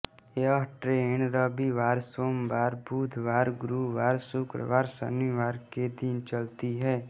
यह ट्रेन रविवार सोमवार बुधवार गुरुवार शुक्रवार शनिवार के दिन चलती है